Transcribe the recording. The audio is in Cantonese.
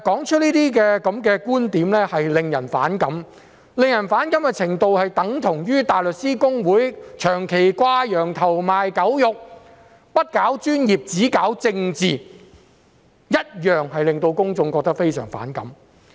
這類觀點實在令人反感，就正如大律師公會長期"掛羊頭，賣狗肉"，不搞專業，只搞政治一樣，令公眾覺得非常反感。